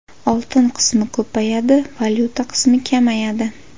Oltin qismi ko‘payadi, valyuta qismi kamayadi.